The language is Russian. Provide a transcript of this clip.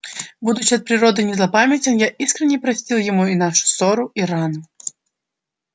будучи от природы не злопамятен я искренно простил ему и нашу ссору и рану